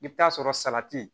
I bɛ taa sɔrɔ salati